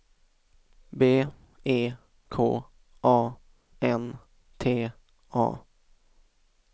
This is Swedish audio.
B E K A N T A